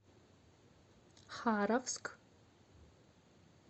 харовск